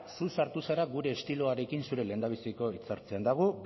zu sartu zara gure estiloarekin zure lehendabiziko hitza hartzean eta gu